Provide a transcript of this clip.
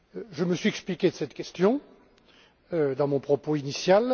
Je me suis expliqué sur cette question dans mon propos initial